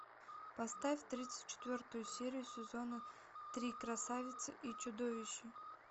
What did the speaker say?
поставь тридцать четвертую серию сезона три красавица и чудовище